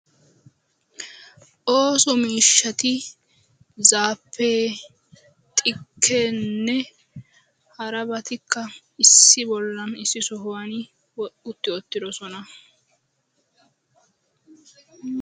OOso miishshatti zaabbe xikkenne hara goshshaa miishshatti issi bolla de'osonna.